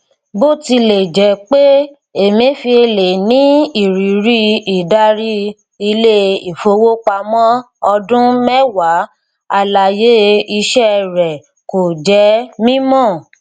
bòtilẹjẹpé emefiele ní ìrírí ìdarí ilé ìfowópamọ ọdún mẹwàá àlàyé iṣẹ rẹ kò jẹ mímọ